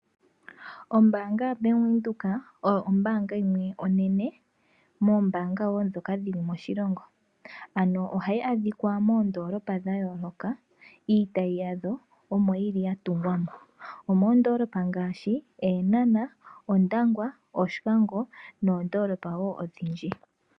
Ombaanga yaBank Windhoek oyo ombaanga yimwe onene moombanga wo dhoka dhili moshilongo, ano ohayi adhikwa moondoolopa dhayooloka iitayi yadho omoyili yatungwa mo. Omoondoolopa ngaashi, Eenhana, Ondangwa, Oshikango, noondoolopa wo odhindji.